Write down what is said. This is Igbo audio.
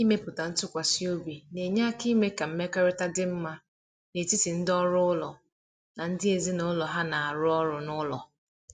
Ịmepụta ntụkwasị obi na-enye aka ime ka mmekọrịta dị mma n’etiti ndị ọrụ ụlọ na ndị ezinụlọ ha na-arụ ọrụ n’ụlọ.